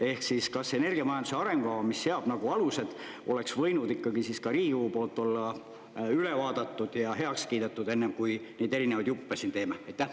Ehk siis: kas energiamajanduse arengukava, mis seab alused, oleks võinud ikkagi ka Riigikogu poolt olla üle vaadatud ja heaks kiidetud enne, kui neid erinevaid juppe siin teeme?